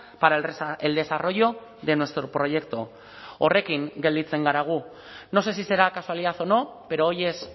para el desarrollo de nuestro proyecto horrekin gelditzen gara gu no sé si será casualidad o no pero hoy es